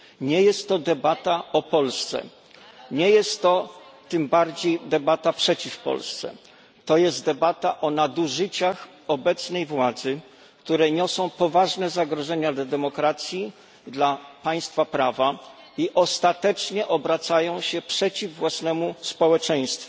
Nie jest to debata o Polsce, nie jest to tym bardziej debata przeciw Polsce, to jest debata o nadużyciach obecnej władzy, które niosą poważne zagrożenia dla demokracji, dla państwa prawa i ostatecznie obracają się przeciw własnemu społeczeństwu.